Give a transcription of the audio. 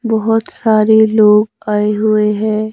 बहोत सारे लोग आए हुए हैं।